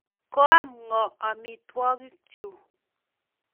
Koam ng'o amitwogikchu?